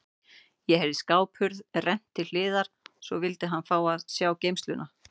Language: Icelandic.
Ég heyrði skáphurð rennt til hliðar og svo vildi hann fá að sjá geymsluna.